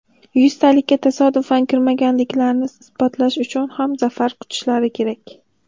Yuztalikka tasodifan kirmaganliklarini isbotlash uchun ham, zafar quchishlari kerak.